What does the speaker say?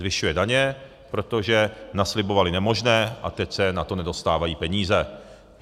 Zvyšuje daně, protože naslibovali nemožné a teď se na to nedostávají peníze.